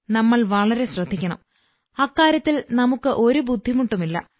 നമ്മൾ വളരെ ശ്രദ്ധിക്കണം അക്കാര്യത്തിൽ നമുക്ക്് ഒരു ബുദ്ധിമുട്ടുമില്ല